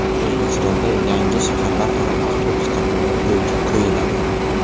O‘zbekistonda yangi shaharlararo avtobus qatnovi yo‘lga qo‘yiladi.